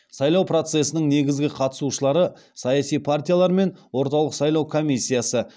сайлау процесінің негізгі қатысушылары саяси партиялар мен орталық сайлау комиссиясы